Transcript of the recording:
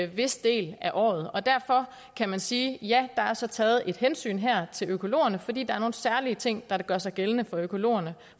vis del af året og derfor kan man sige ja der er så taget et hensyn her til økologerne fordi der er nogle særlige ting der gør sig gældende for økologerne